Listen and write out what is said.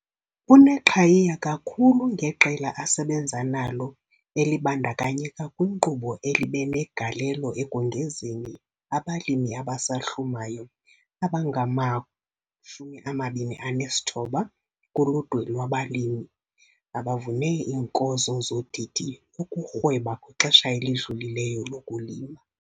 Uneqhayiya kakhulu ngeqela asebenza nalo elibandakanyeka kwinkqubo elibe negalelo ekongezeni abalimi abasahlumayo abangama-29 kuludwe lwabalimi abavune iinkozo zodidi ukurhweba kwixesha elidlulileyo lokulima.